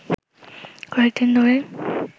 কয়েকদিন ধরেই